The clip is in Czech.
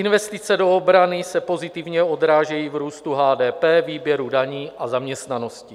Investice do obrany se pozitivně odrážejí v růstu HDP, výběru daní a zaměstnanosti.